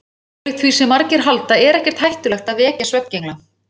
Ólíkt því sem margir halda er ekkert hættulegt að vekja svefngengla.